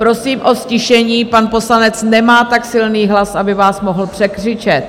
Prosím o ztišení, pan poslanec nemá tak silný hlas, aby vás mohl překřičet.